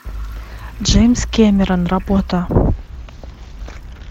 джеймс кэмерон работа